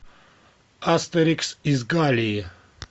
астерикс из галлии